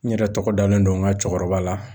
N yɛrɛ tɔgɔ dalen don n ka cɛkɔrɔba la.